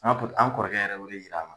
an an kɔrɔkɛ yɛrɛ ye o de yira an na.